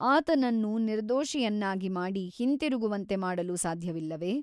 ಆತನನ್ನು ನಿರ್ದೋಷಿಯನ್ನಾಗಿ ಮಾಡಿ ಹಿಂತಿರುಗುವಂತೆ ಮಾಡಲು ಸಾಧ್ಯವಿಲ್ಲವೆ?